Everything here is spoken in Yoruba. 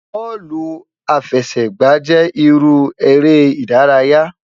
Bọọlu afẹsẹgba jẹ iru ere idaraya